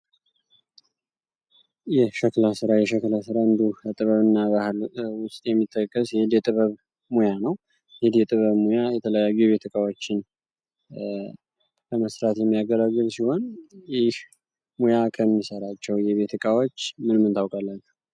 የሸክለ ስራ የሸክለ ሥራ እንዱ እጥበብ እና ባህል ውስጥ የሚጠከስ ሂድ የጥበብ ሙያ ነው ህድ የጥበብ ሙያ የተለያዩ የቤትቃዎችን በመስራት የሚያገላግል ሲሆን ይህ ሙያ ከሚሰራቸው የቤትቃዎች ምንምን ትውቃላቸው?